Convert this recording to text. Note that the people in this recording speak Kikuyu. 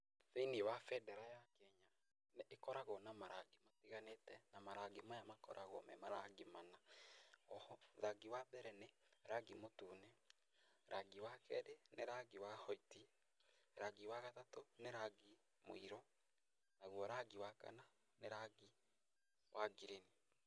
Thĩ-inĩ wa bendera ya Kenya nĩ ĩkoragwo na marangi matiganĩte na marangi maya makoragwo me marangi mana. O ho rangi wa mbere nĩ rangi mũtune, rangi wa kerĩ nĩ rangi wa white, rangi wa gatatũ nĩ rangi mũirũ, naguo rangi wa kana nĩ rangi wa ngirini.